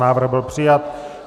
Návrh byl přijat.